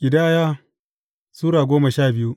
Ƙidaya Sura goma sha biyu